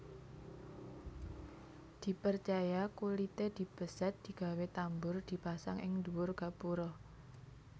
Diperjaya kulité dibesèt digawé tambur dipasang ing dhuwur gapura